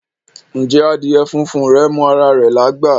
Ǹjẹ́ adíè fúnfún rè mọ ara rè lágbá?